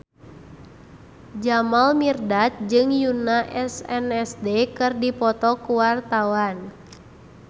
Jamal Mirdad jeung Yoona SNSD keur dipoto ku wartawan